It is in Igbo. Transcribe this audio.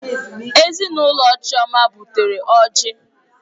Ezinụlọ Chioma butere ọjị.